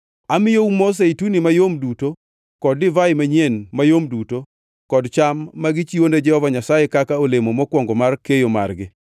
“Amiyou mo zeituni mayom duto kod divai manyien mayom duto kod cham ma gichiwone Jehova Nyasaye kaka olemo mokwongo mar keyo margi.